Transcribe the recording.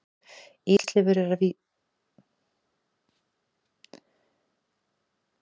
Hann er næstum alveg eins og jakkinn hans Lúlla vældi Nína og þuklaði jakkann.